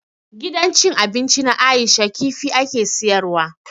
Gidan cin abinci na Aisha kifi ake siyar wa.